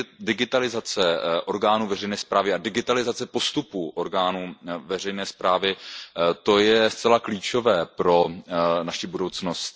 Digitalizace orgánu veřejné správy a digitalizace postupů orgánů veřejné správy, to je zcela klíčové pro naši budoucnost.